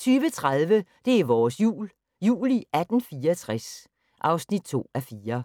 20:30: Det er vores Jul – Jul i 1864 (2:4)